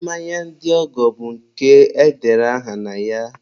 mmanya ndị ọgọ bụ nke edere aha na ya.